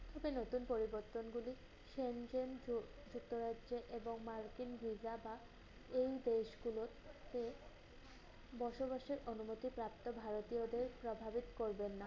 হবে নতুন করে এই বর্তনগুলি সেন জেন জু victor এসছে এবং markin visa বা এই দেশগুলোরতে বসবাসের অনবত প্রাপ্ত ভারতীয়দের প্রভাবেত করবেন না।